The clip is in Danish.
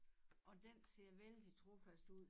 Og den ser vældig trofast ud